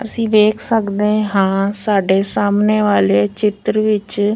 ਅਸੀਂ ਵੇਖ ਸਕਦੇ ਹਾਂ ਸਾਡੇ ਸਾਹਮਣੇ ਵਾਲੇ ਚਿੱਤਰ ਵਿੱਚ --